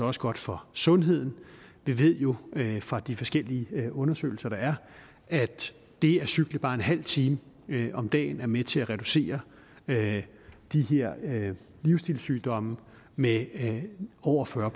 også godt for sundheden vi ved jo fra de forskellige undersøgelser der er at det at cykle bare en halv time om dagen er med til at reducere de her livsstilssygdomme med over fyrre